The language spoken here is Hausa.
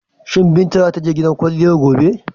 Shi Binta za ta je gidan kwalliyar gobe?